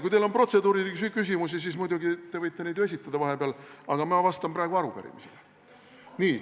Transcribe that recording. Kui teil on protseduurilisi küsimusi, siis muidugi te võite neid ju vahepeal esitada, aga ma vastan praegu arupärimisele.